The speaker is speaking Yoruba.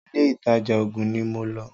ilé ìtajà oògùn ní mo lọ́.